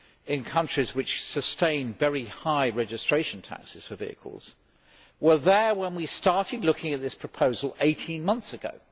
in countries which sustain very high registration taxes for vehicles were there when we started looking at this proposal 18 months ago.